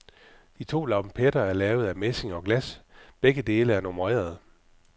De to lampetter er lavet af messing og glas, begge er nummererede.